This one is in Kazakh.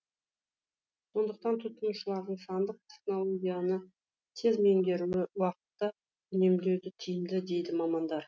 сондықтан тұтынушылардың сандық технологияны тез меңгеруі уақытты үнемдеуде тиімді дейді мамандар